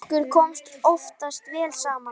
Okkur kom oftast vel saman.